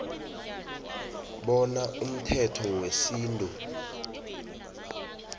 bona umthetho wesintu